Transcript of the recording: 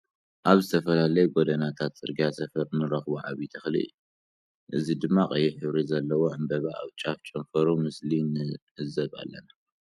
ኣብ ዝተፈላለዩ ጎዶናታት ጽርግያ ሰፈር እንረክቦ ዓብይ ተክሊ እዩ። እዚ ድማ ቀይሕ ሕብሪ ዘለዎ ዕንበባ ኣብ ጫፍ ጨንፈሩ ምስሊ ንዕዘብ ኣለና።